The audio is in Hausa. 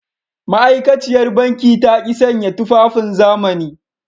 Ma’aikaciyar banki ta ki sanya tufafin zamani.